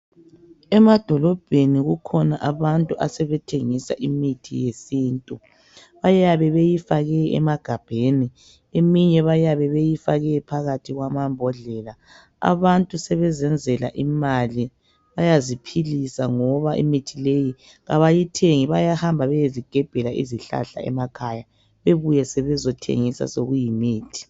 Emadolobheni kukhona abantu asebethengisa imithi yesintu. Bayabe beyifake emagabheni eminye bayabe beyifake phakathi kwamambodlela. Abantu sebezenzela imali bayaziphilisa ngoba imithi leyi kabayithengi bayahamba bayezigebhela izihlahla emakhaya ,bebuye sebezethengisa sokuyimithi.